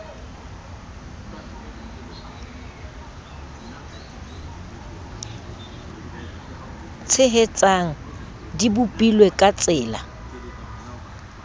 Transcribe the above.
tshehetsang di bopilwe ka tsela